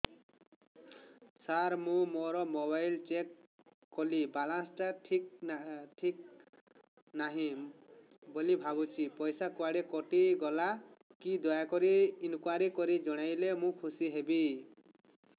ସାର ମୁଁ ମୋର mobile check କଲି ବାଲାନ୍ସ ଟା ଠିକ ନାହିଁ ବୋଲି ଭାବୁଛି ପଇସା କୁଆଡେ କଟି ଗଲା କି ଦୟାକରି ଇନକ୍ୱାରି କରି ଜଣାଇଲେ ମୁଁ ଖୁସି ହେବି